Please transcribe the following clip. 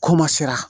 K'o ma sera